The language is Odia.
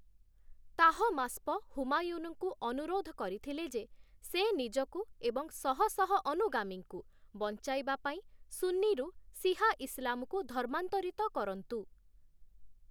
ତାହମାସ୍ପ, ହୁମାୟୁନଙ୍କୁ ଅନୁରୋଧ କରିଥିଲେ ଯେ, ସେ ନିଜକୁ ଏବଂ ଶହଶହ ଅନୁଗାମୀଙ୍କୁ ବଞ୍ଚାଇବା ପାଇଁ ସୁନ୍ନିରୁ ସିହା ଇସଲାମକୁ ଧର୍ମାନ୍ତରିତ କରନ୍ତୁ ।